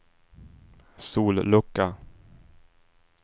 sollucka